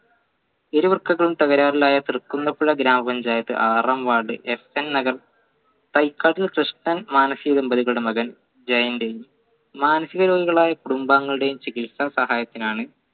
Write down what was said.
ഇരു വൃക്കകളും തകരാറിലായ തൃക്കുന്നപ്പുഴ ഗ്രാമപഞ്ചായത്ത് ആറാം ward കൃഷ്ണൻ മാനസിക ദമ്പതികളുടെ മകൻ ജയന്റെ മാനസിക രോഗികളായ കുടുംബാംഗങ്ങളുടെയും ചികിത്സ സഹായത്തിനാണ്